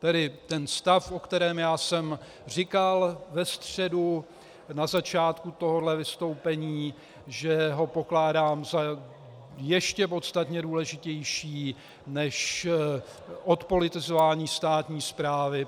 - Tedy ten stav, o kterém já jsem říkal ve středu na začátku tohoto vystoupení, že ho pokládám za ještě podstatně důležitější než odpolitizování státní správy.